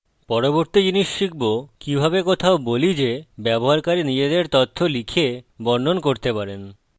পরবর্তী জিনিস শিখব যে কিভাবে কোথাও বলি যে ব্যবহারকারী নিজেদের তথ্য লিখে বর্ণন করতে পারেন